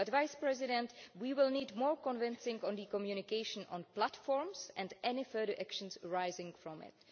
But, Mr Vice President, we will need more convincing on the communication on platforms and any further actions arising from it.